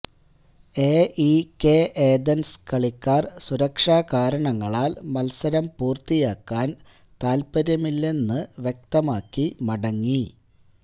A E K Athens കളിക്കാര് സുരക്ഷാ കാരണങ്ങളാല് മത്സരം പൂര്ത്തിയാക്കാന് താത്പര്യമില്ലെന്ന് വ്യക്തമാക്കി മടങ്ങി